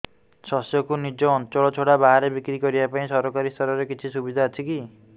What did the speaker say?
ଶସ୍ୟକୁ ନିଜ ଅଞ୍ଚଳ ଛଡା ବାହାରେ ବିକ୍ରି କରିବା ପାଇଁ ସରକାରୀ ସ୍ତରରେ କିଛି ସୁବିଧା ଅଛି କି